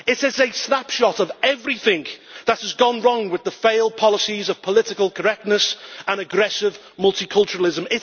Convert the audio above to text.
It is a snapshot of everything that has gone wrong with the failed policies of political correctness and aggressive multiculturalism.